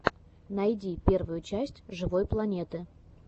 найди первую часть живой планеты